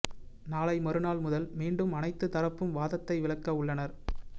நாளை மறுநாள் முதல் மீண்டும் அனைத்து தரப்பும் வாதத்தை விளக்க உள்ளனர்